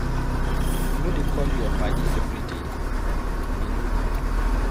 You no dey call your paddy everyday, e no good.